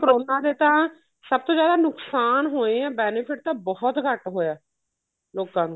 corona ਨੇ ਤਾਂ ਸਭ ਤੋਂ ਜਿਆਦਾ ਨੁਕਸਾਨ ਹੋਏ ਏ benefit ਤਾਂ ਬਹੁਤ ਘੱਟ ਹੋਇਆ ਲੋਕਾਂ ਨੂੰ